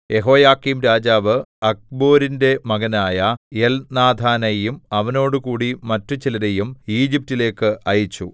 യെഹോയാക്കീംരാജാവ് അഖ്ബോരിന്റെ മകനായ എൽനാഥാനെയും അവനോടുകൂടി മറ്റു ചിലരെയും ഈജിപ്റ്റിലേക്ക് അയച്ചു